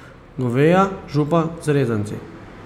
Goveja župa z rezanci.